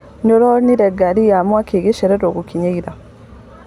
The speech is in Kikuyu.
Nĩũronire ngari ya mwaki igicererwo gũkinya ira?